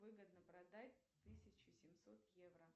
выгодно продать тысячу семьсот евро